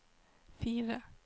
fire